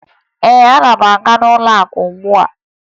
Ee, ana m aga n'ụlọakụ ugbua